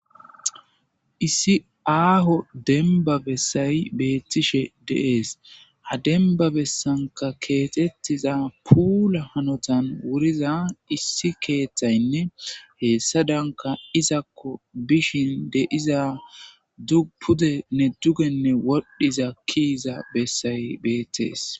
issi aaho denba bessay beettishe de'ees ha denba bessanka keetettiza puula hanotan wuriza issi keeththaynne heessadanka izakko bishin de'iza pudenne dugenne wodhdhiza kiiza bessay beettees